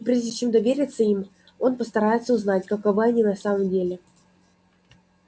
прежде чем довериться им он постарается узнать каковы они на самом деле